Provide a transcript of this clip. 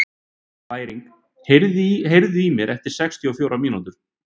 Bæringur, heyrðu í mér eftir sextíu og fjórar mínútur.